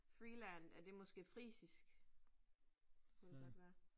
Freeland er det måske frisisk? Kunne det godt være